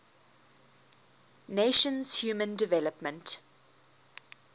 nations human development